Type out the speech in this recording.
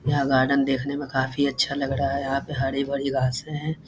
यहाँ गार्डन देखने मे काफी अच्छा लग रहा है यहाँ पे हरी-भरी घासे है।